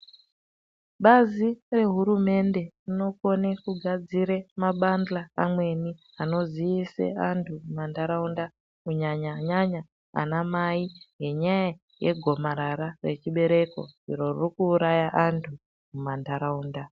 Bazi rehurumende rinokone kugadzire mabandla amweni anoziise antu mumantaraunda kunyanyanyanya anamai ngenyaya yegomarara rechibereko iro ririkuuraya antu mumantaraunda.